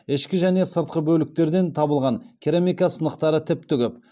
ішкі және сыртқы бөліктерден табылған керамика сынықтары тіпті көп